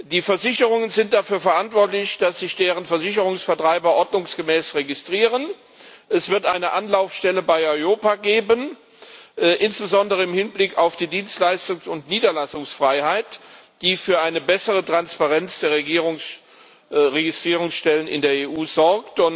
Die Versicherungen sind dafür verantwortlich, dass sich deren Versicherungsvertreiber ordnungsgemäß registrieren. Es wird eine Anlaufstelle bei EIOPA geben, insbesondere im Hinblick auf die Dienstleistungs und Niederlassungsfreiheit, die für eine bessere Transparenz der Registrierungsstellen in der EU sorgt.